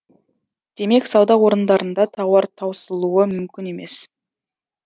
демек сауда орындарында тауар таусылуы мүмкін емес